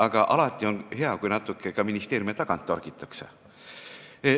Aga alati on hea, kui natuke ka ministeeriume tagant torgitakse.